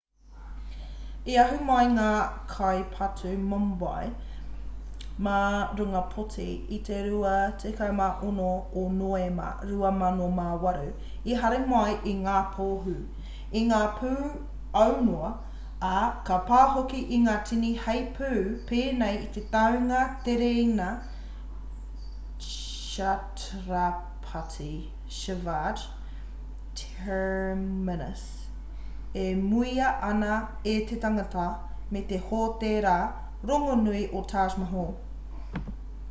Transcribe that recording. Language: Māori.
i ahu mai ngā kai patu mumbai mā runga poti i te 26 o noema 2008 i hari mai i ngā pohū i ngā pū aunoa ā ka pā hoki ki ngā tini heipū pēnei i te tāunga tereina chhatrapati shivaji terminus e muia ana e te tangata me te hōtēra rongonui o taj mahal